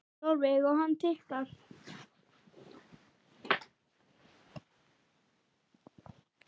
Sólveig: Og hann tikkar?